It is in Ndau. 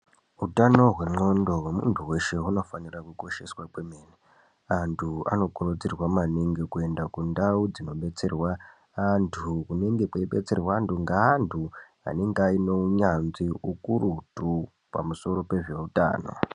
Utano hwendxondo hwemuntu weshe hunofanira kukosheswa kwemene. Antu anokurudzirwa maningi kuenda kundau dzinodetserwe antu kunenge kweibetserwe antu ngeantu anenge aine hunyanzvi hukurutu pamusoro pezveutano.